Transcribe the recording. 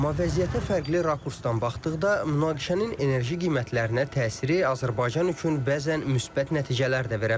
Amma vəziyyətə fərqli rakursdan baxdıqda münaqişənin enerji qiymətlərinə təsiri Azərbaycan üçün bəzən müsbət nəticələr də verə bilər.